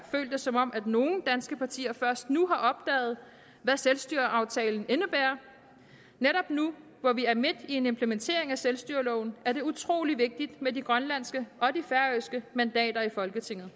det som om nogle danske partier først nu har opdaget hvad selvstyreaftalen indebærer netop nu hvor vi er midt i en implementering af selvstyreloven er det utrolig vigtigt med de grønlandske og de færøske mandater i folketinget